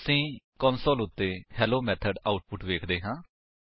ਅਸੀ ਕੰਸੋਲ ਉੱਤੇ hello method output ਵੇਖਦੇ ਹਾਂ